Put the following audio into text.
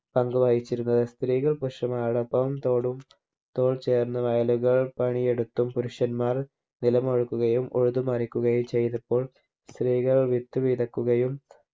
പങ്കുവഹിച്ചിരുന്നത് സ്ത്രീകൾ പുരുഷന്മാരോടൊപ്പം തോടും തോൾ ചേർന്ന് വയലുകൾ പണി എടുത്തും പുരുഷന്മാർ നിലമുഴുകുകയും ഉഴുതുമറിക്കുകയും ചെയ്തപ്പോൾ സ്ത്രീകൾ വിത്ത് വിതക്കുകയും